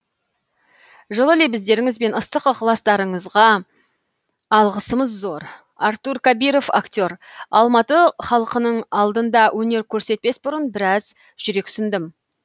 жылы лебіздеріңіз бен ыстық ықыластарыңызға алғысымыз зор артур кабиров актер алматы халқының алдында өнер көрсетпес бұрын біраз жүрексіндім